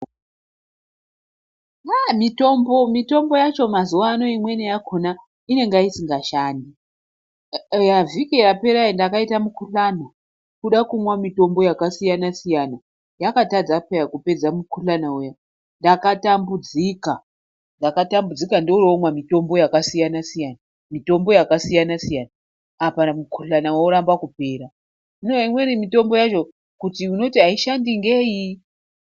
Ah mitombo, mitombo yacho mazuvano imweni yakona inenga isingashandi. Vhiki yapera iyi ndakaita mukuhlani, kuda kumwa mitombo yakasiyana-siyana yakatadza peya kupedza mukuhlana uya. Ndakatambudzika, ndakatambudzika ndooromwa mitombo yakasiyana-siyana, mitombo yakasiyana-siyana, apa mukuhlana woramba kupera. Hino imweni mitombo yacho kuti unoti haishandi ngei.